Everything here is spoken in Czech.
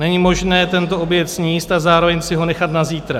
Není možné tento oběd sníst a zároveň si ho nechat na zítra.